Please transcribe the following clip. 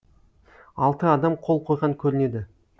алты адам қол қойған көрінеді